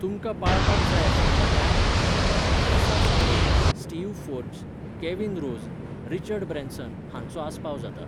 तुमकां पाळपाक जाय आशिल्ल्या कांय उद्देजकांक Melissa Stuart, Steve Forbes, Kevin Rose, Richard Branson हांचो आस्पाव जाता.